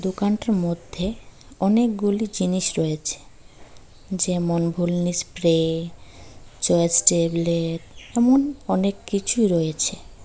দোকানটার মধ্যে অনেকগুলি জিনিস রয়েছে যেমন ভলিনি স্প্রে চয়েজ টেবলেট এমন অনেক কিছু রয়েছে।